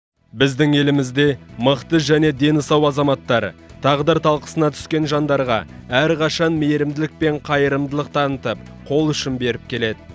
біздің елімізде мықты және дені сау азаматтар тағдыр талқысына түскен жандарға әрқашан мейірімділік пен қайырымдылық танытып қол үшін беріп келеді